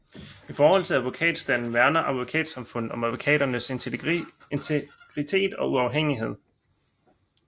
I forhold til advokatstanden værner Advokatsamfundet om advokaternes integritet og uafhængighed